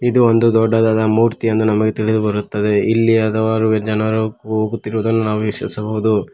ಇದು ಒಂದು ದೊಡ್ಡದಾದ ಮೂರ್ತಿ ಎಂದು ನಮಗೆ ತಿಳಿದು ಬರುತ್ತದೆ ಇಲ್ಲಿ ಹಲವಾರು ಜನರು ಹೋಗುತ್ತಿರುವುದನ್ನು ನಾವು ವೀಕ್ಷಿಸಬವುದು.